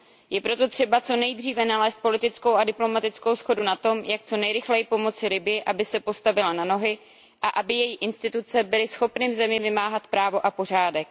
Je proto třeba co nejdříve nalézt politickou a diplomatickou shodu na tom, jak co nejrychleji pomoci Libyi, aby se postavila na nohy a aby její instituce byly schopny v zemi vymáhat právo a pořádek.